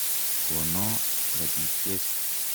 Kono rapisyek.